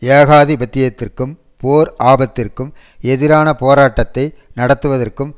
ஏகாதிபத்தியத்திற்கும் போர் ஆபத்திற்கும் எதிரான போராட்டத்தை நடத்துவதற்கும்